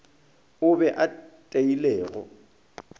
o be a tlile go